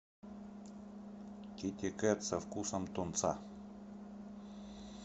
китекет со вкусом тунца